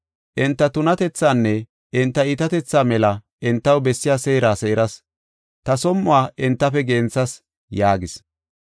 Enta tunatethaanne enta iitatetha mela entaw bessiya seera seeras; ta som7uwa entafe genthas” yaagis.